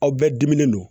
Aw bɛɛ diminen don